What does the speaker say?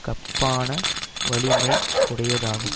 கப்பான வலிமை உடையதாகும்